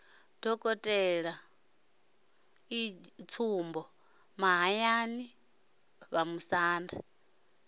dokotela e g mahayani vhamusanda